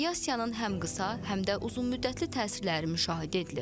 Radiasiyanın həm qısa, həm də uzunmüddətli təsirləri müşahidə edilir.